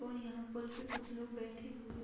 और यहाँ पूल पे कुछ लोग बैठे हुए --